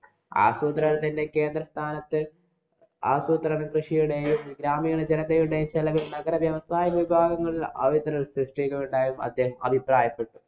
ആസൂത്രണത്തിന്‍റെ കേന്ദ്രസ്ഥാനത്ത് ആസൂത്രണ കൃഷിയുടെയും, ഗ്രാമീണ ജനതയുടെ ചെലവില്‍ നഗര വ്യവസായ വിഭാഗങ്ങളില്‍ അവസരങ്ങള്‍ സൃഷ്ടിക്കുകയുണ്ടായി എന്നും അദ്ദേഹം അഭിപ്രായപ്പെട്ടു.